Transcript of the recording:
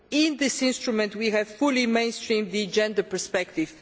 In this instrument we have fully mainstreamed the gender perspective